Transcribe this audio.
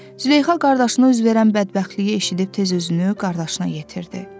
Züleyxa qardaşına üz verən bədbəxtliyi eşidib tez özünü qardaşına yetirdi.